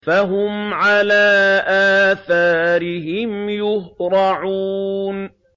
فَهُمْ عَلَىٰ آثَارِهِمْ يُهْرَعُونَ